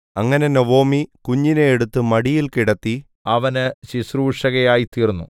അങ്ങനെ നൊവൊമി കുഞ്ഞിനെ എടുത്ത് മടിയിൽ കിടത്തി അവന് ശുശ്രൂഷകയായിത്തീർന്നു